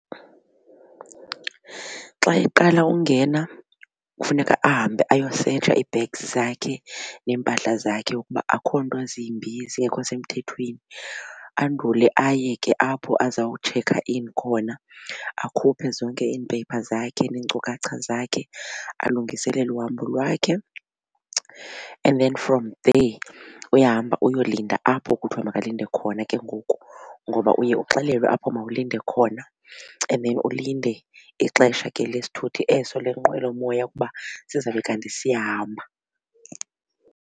Xa iqala ungena kufuneka ahambe ayosetsha ii-bags zakhe neempahla zakhe ukuba akukho nto zimbi zingekho semthethweni andule aye ke apho azawutshekha in khona akhuphe zonke iimpepha zakhe neenkcukacha zakhe alungiselele uhambo lwakhe. And then from there uyahamba uyolinda apho kuthiwa makalinde khona ke ngoku ngoba uye uxelelwe apho kuthiwa mawulinde khona. And then ulinde ixesha ke lesithuthi eso lenqwelomoya ukuba sizawube kanti siyahamba.